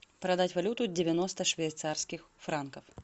продать валюту девяносто швейцарских франков